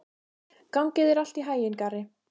Gangi þér allt í haginn, Garri.